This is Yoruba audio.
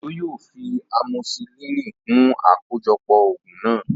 Òjó yóò fi amosisilínì kún àkójọpọ̀ ògùn náà